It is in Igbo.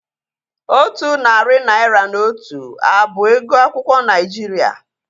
Otu narị naira na otu a bụ ego akwụkwọ Naijiria?